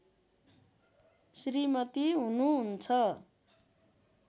श्रीमती हुनुहुन्छ